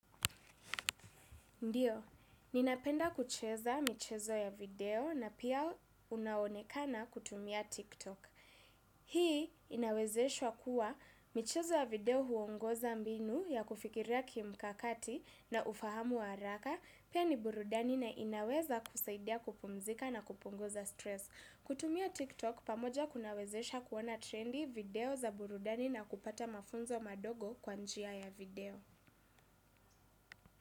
Ndio, ninapenda kucheza michezo ya video na pia unaonekana kutumia TikTok. Hii inawezeshwa kuwa michezo ya video huongoza mbinu ya kufikiria kimkakati na ufahamu wa haraka pia ni burudani na inaweza kusaidia kupumzika na kupunguza stress. Kutumia TikTok pamoja kunawezesha kuona trendi, video za burudani na kupata mafunzo madogo kwa njia ya video.